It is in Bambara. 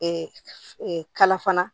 kala fana